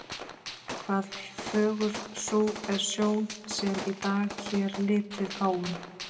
hvað fögur sú er sjón, sem í dag hér litið fáum.